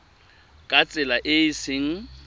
ka tsela e e seng